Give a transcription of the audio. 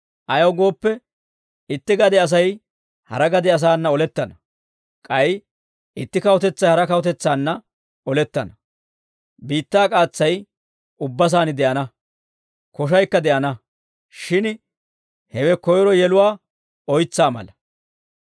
Ayaw gooppe, itti gade Asay hara gade asaana olettana; k'ay itti kawutetsay hara kawutetsaanna olettana; biittaa k'aatsay ubba saan de'ana; koshaykka de'ana; shin hewe koyro yeluwaa oytsaa mala.